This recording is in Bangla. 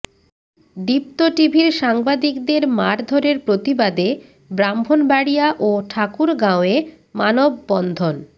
দীপ্ত টিভির সাংবাদিকদের মারধরের প্রতিবাদে ব্রাহ্মণবাড়িয়া ও ঠাকুরগাঁওয়ে মানববন্ধন